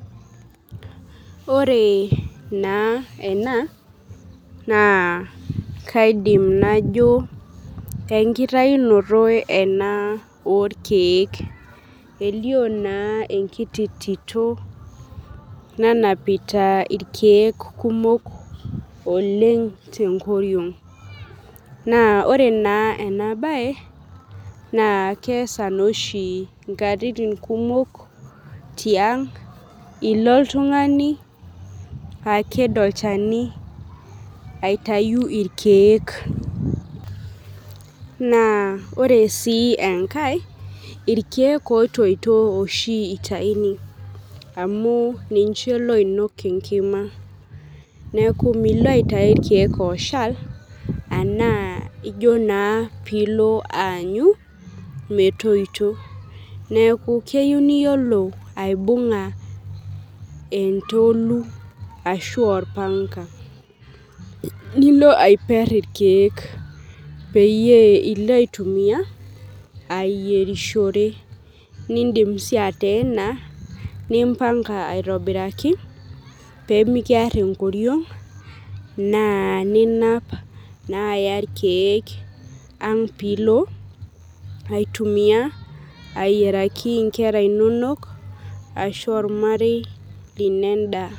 Ore na ena na kaidim najo enkitaunoto ena orkiek elio na enkiti tito nanapita irkiek kumok tenkoriong na ore na enabae na keasa noosi nkatitin kumok tiang ilo oltungani aked olchani aitau orkiek ore si enkae na irkiek otoito oshi itauni neaku milo aitau irkiek oshal ilo aanyu metoito neaku keyieu niyiolo aibunga entolu ashu orpanga nilo aiper irkiek ashu ilo aitumia ayierisho nindim si ateena ashu impanga aitobiraki pemikiar enkoriong na ninap na aya irkiek pilo aitumia ayieraki nkera inonok ashu ormarei lino endaa.